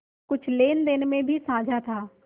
कुछ लेनदेन में भी साझा था